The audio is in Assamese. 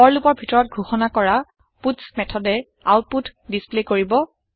ফৰ লুপৰ ভিতৰত ঘোষণা কৰা পাটছ মেথডে আওতপুত ডিচপ্লে কৰিব